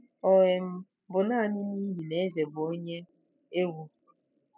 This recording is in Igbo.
Ọ um bụ naanị n'ihi na eze bụ onye egwu?